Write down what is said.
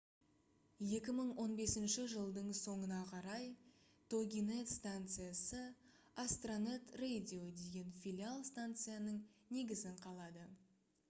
2015 жылдың соңына қарай toginet станциясы astronet radio деген филиал станцияның негізін қалады